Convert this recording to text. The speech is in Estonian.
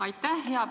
Aitäh!